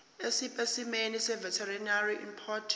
esipesimeni seveterinary import